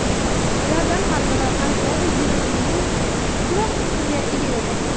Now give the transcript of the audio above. Ulardan har biri ajdodi genomining kichikroq qismiga ega edi.